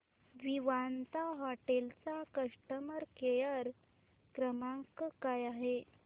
Vivanta hotel चा customer care क्रमांक काय आहे